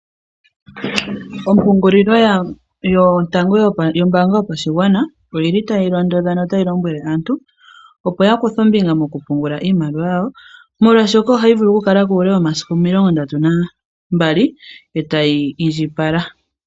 Opungulilo yotango yombanga yopashingwana oyili tayi londodha notayi lombwele aantu opo yakuthe ombinga mokupungula iimaliwa yawo molwa shoka ohayi vulu oku kalako ule womasiku 32 etayi indjipala.